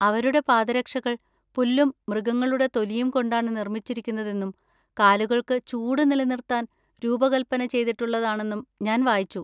അവരുടെ പാദരക്ഷകൾ പുല്ലും മൃഗങ്ങളുടെ തൊലിയും കൊണ്ടാണ് നിർമ്മിച്ചിരിക്കുന്നതെന്നും കാലുകൾക്ക് ചൂട് നിലനിർത്താൻ രൂപകൽപ്പന ചെയ്തിട്ടുള്ളതാണെന്നും ഞാൻ വായിച്ചു.